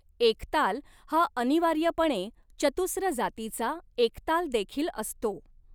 एकताल हा अनिवार्यपणे चतुस्र जातीचा एकतालदेखील असतो.